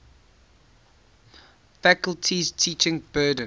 faculty's teaching burden